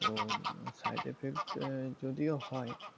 তো side effect যদিও হয়